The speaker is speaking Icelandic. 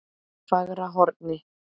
Fagrahorni